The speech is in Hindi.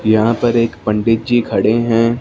यहां पर एक पंडित जी खड़े हैं।